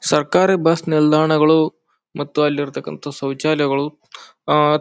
ಸರ್ಕಾರಿ ಬಸ್ ನಿಲ್ದಾಣಗಳು ಮತ್ತು ಅಲ್ಲಿ ಇರುತಕಂತ ಶೌಚಾಲಯಗಳು ಅಹ್ ಅಹ್--